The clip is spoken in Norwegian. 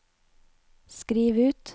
skriv ut